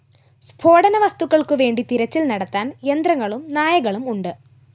സ്‌ഫോടനവസ്തുക്കള്‍ക്കുവേണ്ടി തിരച്ചില്‍ നടത്താന്‍ യന്ത്രങ്ങളും നായകളും ഉണ്ട്‌